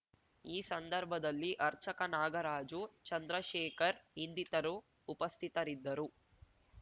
ಈ ಸಂದರ್ಭದಲ್ಲಿ ಆರ್ಚಕ ನಾಗರಾಜು ಚಂದ್ರಶೇಖರ್‌ ಇನ್ನಿತರು ಉಪಸ್ಥಿತರಿದ್ದರು